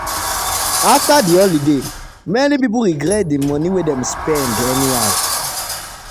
after the holiday many people regret the money wey dem spend anyhow.